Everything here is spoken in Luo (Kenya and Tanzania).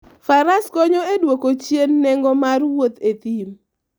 Faras konyo e dwoko chien nengo mar wuoth e thim.